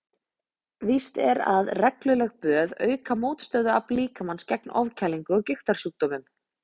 Víst er að regluleg böð auka mótstöðuafl líkamans gegn ofkælingu og gigtarsjúkdómum.